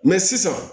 Mɛ sisan